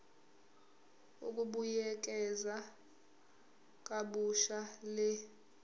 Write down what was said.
ukubuyekeza kabusha le